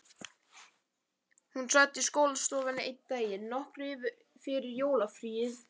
Hún sat í skólastofunni einn daginn, nokkru fyrir jólafríið.